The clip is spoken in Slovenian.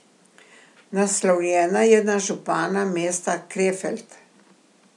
Naslovljena je na župana mesta Krefeld.